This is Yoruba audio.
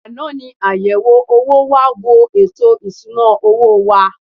Àná ni àyẹ̀wò owó wá wo ètò ìsuna owó wa.